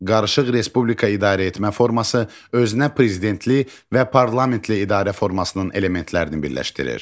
Qarışıq respublika idarəetmə forması özünə prezidentli və parlamentli idarə formasının elementlərini birləşdirir.